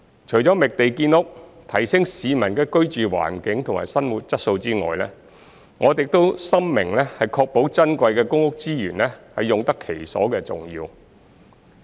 除了覓地建屋，提升市民的居住環境和生活質素外，我們亦深明確保珍貴的公屋資源用得其所的重要。